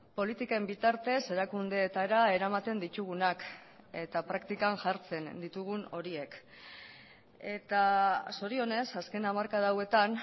politiken bitartez erakundeetara eramaten ditugunak eta praktikan jartzen ditugun horiek eta zorionez azken hamarkada hauetan